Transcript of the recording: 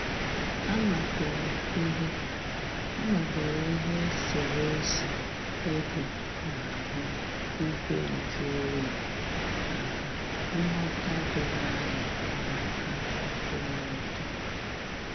A madoro ihe A madoro ihe eserésé égò n'ahụ igwe nju oyi maka nghọ̀ta doro anya na aka nkwụmọtọ.